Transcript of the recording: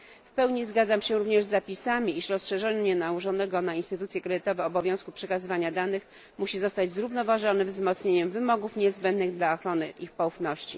W pełni zgadzam się również z zapisami, iż rozszerzenie nałożonego na instytucje kredytowe obowiązku przekazywania danych musi zostać zrównoważone wzmocnieniem wymogów niezbędnych dla ochrony ich poufności.